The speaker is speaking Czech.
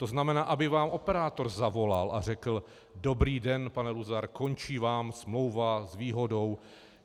To znamená, aby vám operátor zavolal a řekl: Dobrý den, pane Luzar, končí vám smlouva s výhodou.